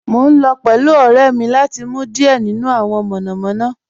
Mo n lọ pẹ̀lú ọ̀rẹ́ mi lati mu diẹ̀ nínu awọn monomono